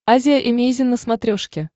азия эмейзин на смотрешке